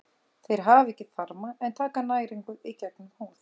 Þeir hafa ekki þarma en taka næringu í gegnum húð.